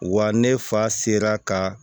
Wa ne fa sera ka